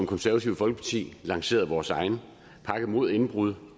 konservative folkeparti lanceret vores egen pakke mod indbrud